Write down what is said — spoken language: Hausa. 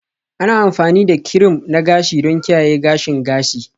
Ana amfani da kirim na gashi don kiyaye gashin gashi